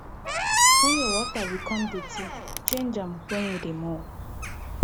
wen your water become dirty change am wen you dey mop